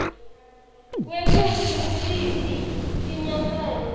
kwekutsi ngutiphi tinyatselo